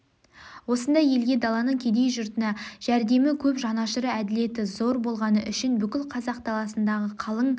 осындай елге даланың кедей жұргына жәрдемі көп жанашыры әділеті зор болғаны үшін бүкіл қазақ даласындағы қалың